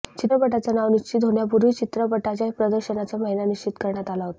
चित्रपटाचं नाव निश्चित होण्यापूर्वीच चित्रपटाच्या प्रदर्शनाचा महिना निश्चित करण्यात आला होता